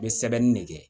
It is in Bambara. N bɛ sɛbɛnni de kɛ